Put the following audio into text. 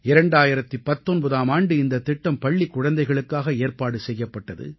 2019ஆம் ஆண்டு இந்தத் திட்டம் பள்ளிக் குழந்தைகளுக்காக ஏற்பாடு செய்யப்பட்டது